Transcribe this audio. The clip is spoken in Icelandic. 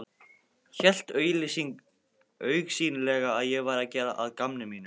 Hélt augsýnilega að ég væri að gera að gamni mínu.